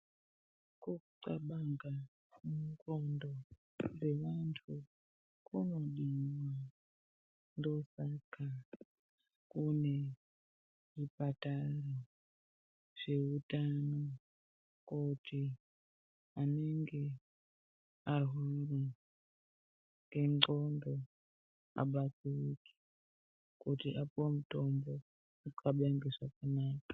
Kunxlabanga munxlondo dzevanhu kunodiwa ndosaka kune zvipatara zveutano kuti anenge arwara nendxondo abatsirike kuti apuwe mutombo anxlabenge zvakanaka.